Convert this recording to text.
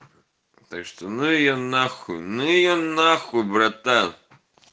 то что ну её нахуй ну её нахуй братан